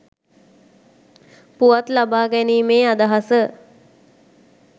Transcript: පුවත් ලබා ගැනීමේ අදහස